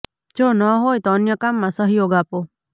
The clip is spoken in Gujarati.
જો ન હોય તો અન્ય કામમાં સહયોગ આપો